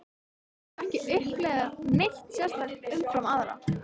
Ég hef ekki upplifað neitt sérstakt umfram aðra.